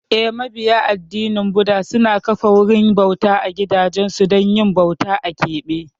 Eh, mabiya addinin Buda suna kafa wurin bauta a gidansu don yin bauta a keɓe.